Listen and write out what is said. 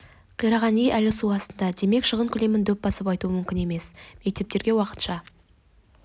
қираған үй әлі су астында демек шығын көлемін дөп басып айту мүмкін емес мектептерге уақытша